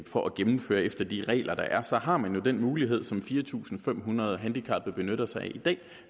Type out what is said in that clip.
for at gennemføre efter de regler der er har man jo den mulighed som fire tusind fem hundrede handicappede benytter sig af i dag